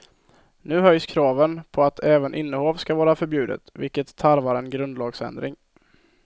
Nu höjs kraven på att även innehav ska vara förbjudet, vilket tarvar en grundlagsändring.